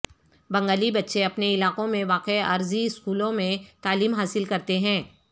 بنگالی بچے اپنے علاقوں میں واقع عارضی سکولوں میں تعلیم حاصل کرتے ہیں